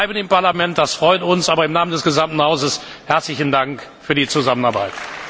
Sie bleiben im Parlament, das freut uns, aber im Namen des gesamten Hauses herzlichen Dank für die Zusammenarbeit!